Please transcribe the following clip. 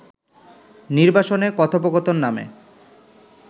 নির্বাসনে কথোপকথন নামে